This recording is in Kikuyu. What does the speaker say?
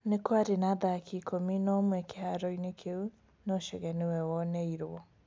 Nĩ kwarĩ na athaki ikũmi na ũmwe kĩhaaro-inĩ kĩu, no Chege nĩwe woneirũo.